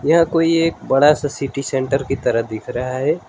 यह कोई एक बड़ा सा सिटी सेंटर की तरह दिख रहा है।